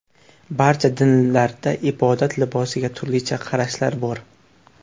Barcha dinlarda ibodat libosiga turlicha qarashlar bor.